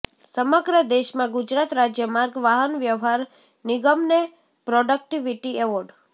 સમગ્ર દેશમાં ગુજરાત રાજ્ય માર્ગ વાહન વ્યવહાર નિગમને પ્રોડક્ટિવિટી એવોર્ડ